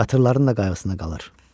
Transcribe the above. Qatırların da qayğısına qalır.